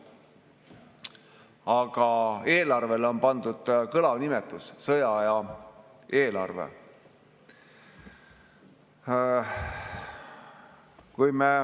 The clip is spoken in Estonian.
Aga eelarvele on pandud kõlav nimetus: sõjaaja eelarve.